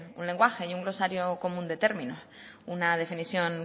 un lenguaje y un glosario común de término una definición